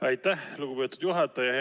Aitäh, lugupeetud juhataja!